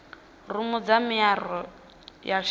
rumu dza miaro ya shishi